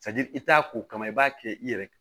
i t'a ko kama i b'a kɛ i yɛrɛ